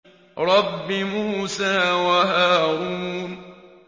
رَبِّ مُوسَىٰ وَهَارُونَ